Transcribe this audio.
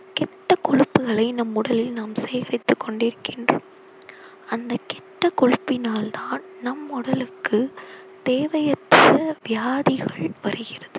கெட்ட கொழுப்புகளை நம் உடலில் நாம் சேகரித்துக் கொண்டிருக்கின்றோம் அந்த கெட்ட கொழுப்பினால் தான் நம்ம நம் உடலுக்கு தேவையற்ற வியாதிகள் வருகிறது